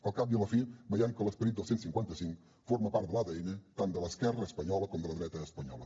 al cap i a la fi veiem que l’esperit del cent i cinquanta cinc forma part de la d’adn tant de l’esquerra espanyola com de la dreta espanyola